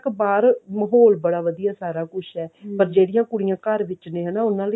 ਬਾਹਰ ਮਹੋਲ ਬੜਾ ਵਧੀਆ ਸਾਰਾ ਕੁਛ ਹੈ ਪਰ ਜਿਹੜੀਆਂ ਕੁੜੀਆਂ ਘਰ ਵਿੱਚ ਨੇ ਉਹਨਾ ਲਈ